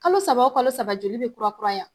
Kalo saba o kalo saba joli be kurakuraya